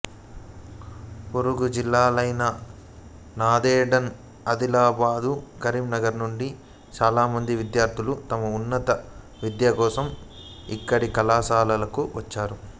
పొరుగు జిల్లాలైన నాందేడ్ ఆదిలాబాదు కరీంనగర్ నుండి చాలా మంది విద్యార్థులు తమ ఉన్నత విద్యకోసం ఇక్కడి కళాశాలలకు వస్తారు